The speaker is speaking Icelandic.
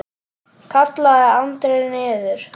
kallaði Andri niður.